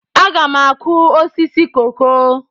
Aga m akụ osisi koko.